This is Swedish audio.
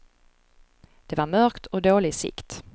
Det var mörkt och dålig sikt.